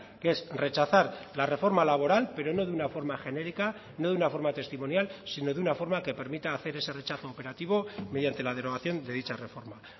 que es rechazar la reforma laboral pero no de una forma genérica no de una forma testimonial sino de una forma que permita hacer ese rechazo operativo mediante la derogación de dicha reforma